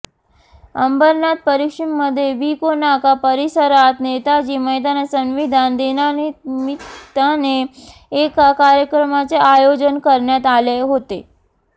अंबरनाथ पश्चिममध्ये विको नाका परिसरात नेताजी मैदानात संविधान दिनानिमित्ताने एका कार्यक्रमाचे आयोजन करण्यात आले होते